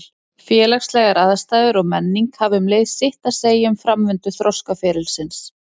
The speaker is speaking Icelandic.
Félagslegar aðstæður og menning hafa um leið sitt að segja um framvindu þroskaferilsins.